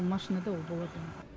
ол машинада ол болады ол